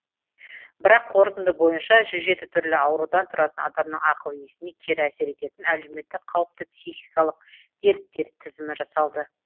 бірақ қорытынды бойынша жүз жеті түрлі аурудан тұратын адамның ақыл есіне кері әсер ететін әлеуметтік қауіпті психикалық дерттер тізімі жасалды